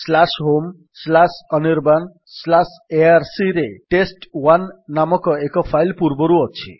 homeanirbanarcରେ test ନାମକ ଏକ file ପୂର୍ବରୁ ଅଛି